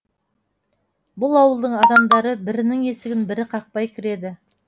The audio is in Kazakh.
бұл ауылдың адамдары бірінің есігін бірі қақпай кіреді